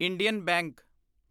Indian bank